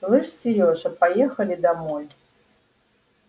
слышишь серёж а поехали домой